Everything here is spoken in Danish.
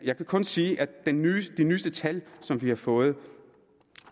kun sige at de nyeste tal vi har fået